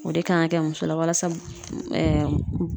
O de kan ka kɛ muso la walasa